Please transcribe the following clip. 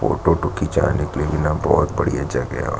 photo वोटो खींचाने के लिए यहाँ बहुत बढ़िया जगह है और--